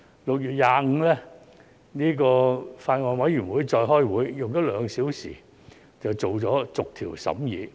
6月25日，法案委員會再次開會，花了兩小時便完成逐項審議。